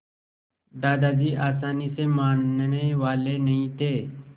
दादाजी आसानी से मानने वाले नहीं थे